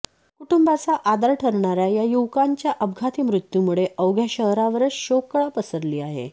कुटुंबाचा आधार ठरणाऱया या युवकांच्या अपघाती मृत्युमुळे अवघ्या शहरावरच शोककळा पसरली आहे